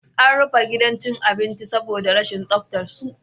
An rufe gidan cin abincin saboda rashin tsaftar su